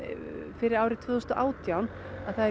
fyrir árið tvö þúsund og átján það er